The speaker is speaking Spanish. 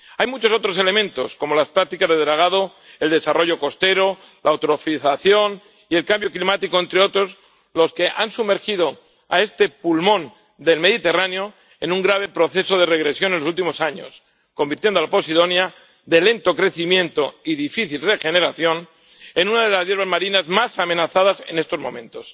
Hay muchos otros elementos, como las prácticas de dragado, el desarrollo costero, la eutrofización y el cambio climático —entre otros— que han sumergido a este pulmón del Mediterráneo en un grave proceso de regresión en los últimos años, convirtiendo a la posidonia, de lento crecimiento y difícil regeneración, en una de las hierbas marinas más amenazadas en estos momentos.